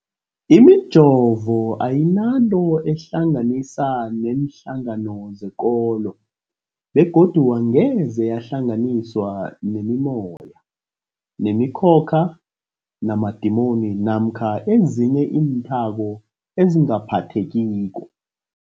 Imijovo ayinanto eyihlanganisa neenhlangano zekolo begodu angeze yahlanganiswa nemimoya, nemi khokha, namadimoni namkha ezinye iinthako ezingaphathekiko.